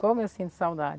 Como eu sinto saudade.